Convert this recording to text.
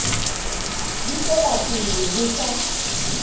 di tswela pele ho sa